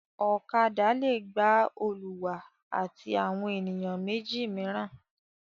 Ọ̀kadà le gba olùwà àti àwọn ènìyàn méjì mìíràn.